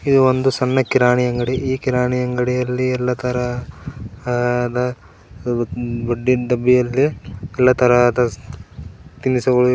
ಇದು ಒಂದು ಸಣ್ಣ ಕಿರಾಣಿ ಅಂಗಡಿ ಈ ಕಿರಾಣಿ ಅಂಗಡಿಯಲ್ಲಿ ಇಲ್ಲಾ ತರ ಹದ ಬುಡಿನ್ ಡಬ್ಬಿಯಲ್ಲಿ ಇಲ್ಲಾ ತರಹದ ತಿನಿಸು ಗಳು--